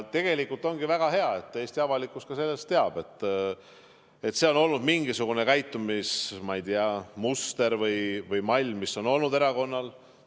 Tegelikult ongi väga hea, et Eesti avalikkus ka teab, et see on mingisugune, ma ei tea, käitumismuster või -mall, mis on erakonnal olnud.